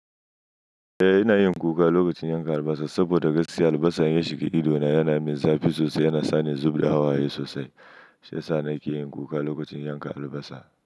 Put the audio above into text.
Eh, ina yin kuka lokacin yanka albasa saboda ga si albasa ya shiga ido na yana min zafi sosai, yana sa ni zub da hawaye sosai. Shu yasani ke yin kuka lokacin yanka albasa.